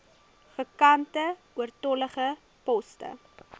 vakante oortollige poste